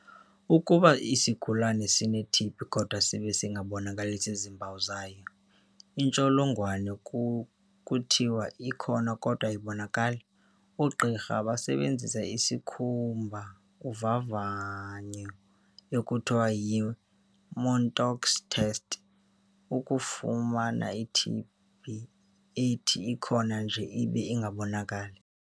Ukuba isigulana sineTB kodwa sibe singabonakalisi zimpawu zayo, intsholongwane kuthiwa 'ikhona kodwa ayibonakali'. Oogqirha basebenzisa isikhumba uvavanyo ekuthiwa yi-Mantoux test, ukufumana iTB ethi ikho nje ibe ingabonakali.